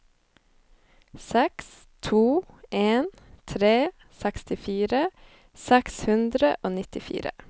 seks to en tre sekstifire seks hundre og nittifire